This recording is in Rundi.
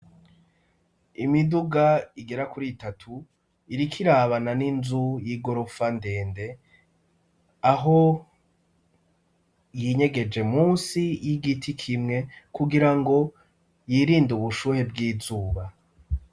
Imiduga igera kuri itatu iriko irabana n'inzu y'igorofa ndende, aho yinyegeje musi y'igiti kimwe kugirango yirinde ubushuhe bw'izuba.